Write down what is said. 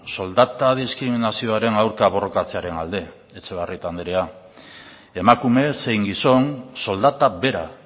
soldata diskriminazioaren aurka borrokatzearen alde etxebarrieta andrea emakume zein gizon soldata bera